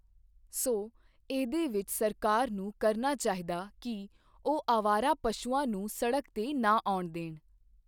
ਸੋ ਇਹਦੇ ਵਿੱਚ ਸਰਕਾਰ ਨੂੰ ਕਰਨਾ ਚਾਹੀਦਾ ਕਿ ਉਹ ਅਵਾਰਾ ਪਸ਼ੂਆਂ ਨੂੰ ਸੜਕ 'ਤੇ ਨਾ ਆਉਣ ਦੇਣ।